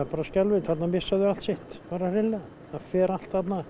bara skelfilegt þarna missa þau allt sitt bara hreinlega það fer allt þarna